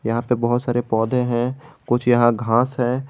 यहीं पे बहुत सारे पौधे हैं कुछ यहां घास हैं।